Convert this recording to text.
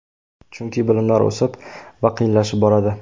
Chunki bilimlar o‘sib va qiyinlashib boradi.